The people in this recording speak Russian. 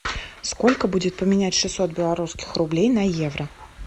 сколько будет поменять шестьсот белорусских рублей на евро